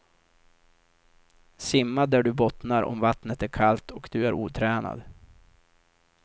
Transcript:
Simma där du bottnar om vattnet är kallt och du är otränad.